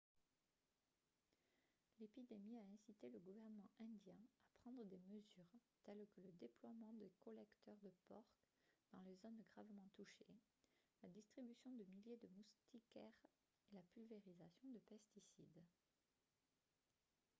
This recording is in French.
l'épidémie a incité le gouvernement indien à prendre des mesures telles que le déploiement de collecteurs de porcs dans les zones gravement touchées la distribution de milliers de moustiquaires et la pulvérisation de pesticides